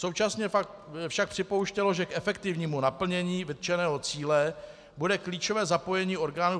Současně však připouštělo, že k efektivnímu naplnění vytčeného cíle bude klíčové zapojení orgánů